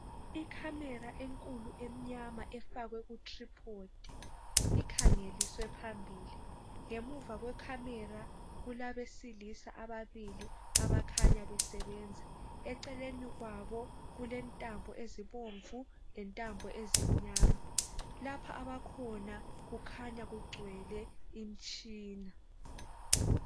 i camera enkulu emnyama efakwe ku tripod ikhangeliswe phambili ngemuva kwe camera kulabesilisa ababili abakhanya besebenza eceleni kwabo kuntambo ezobomvu lentambo ezimnyama lapha abkhona kukhanya kugcwele imtshina